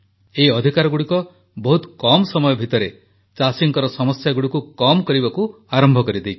ଏହି ଅଧିକାରଗୁଡ଼ିକ ବହୁତ କମ ସମୟ ଭିତରେ ଚାଷୀଙ୍କର ସମସ୍ୟାଗୁଡ଼ିକୁ କମ୍ କରିବାକୁ ଆରମ୍ଭ କରିଦେଇଛି